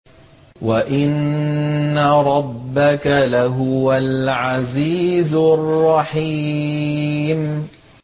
وَإِنَّ رَبَّكَ لَهُوَ الْعَزِيزُ الرَّحِيمُ